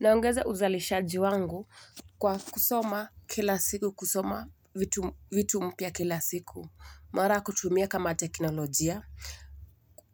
Naongeza uzalishaji wangu kwa kusoma kila siku kusoma vitu vitu mpya kila siku. Mara kutumia kama teknolojia.